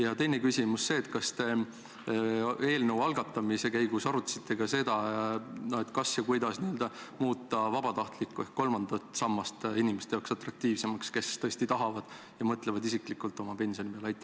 Ja teine küsimus on see: kas te eelnõu algatamise käigus arutasite ka seda, kas ja kuidas muuta vabatahtlik ehk kolmas sammas inimeste jaoks atraktiivsemaks – nende jaoks, kes tõesti tahavad ja mõtlevad oma pensionile?